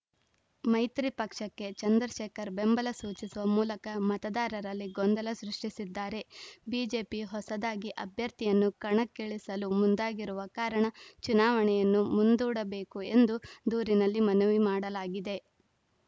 ಮೈತ್ರಿ ಪಕ್ಷಕ್ಕೆ ಚಂದ್ರಶೇಖರ್‌ ಬೆಂಬಲ ಸೂಚಿಸುವ ಮೂಲಕ ಮತದಾರರಲ್ಲಿ ಗೊಂದಲ ಸೃಷ್ಟಿಸಿದ್ದಾರೆ ಬಿಜೆಪಿ ಹೊಸದಾಗಿ ಅಭ್ಯರ್ಥಿಯನ್ನು ಕಣಕ್ಕಿಳಿಸಲು ಮುಂದಾಗಿರುವ ಕಾರಣ ಚುನಾವಣೆಯನ್ನು ಮುಂದೂಡಬೇಕು ಎಂದು ದೂರಿನಲ್ಲಿ ಮನವಿ ಮಾಡಲಾಗಿದೆ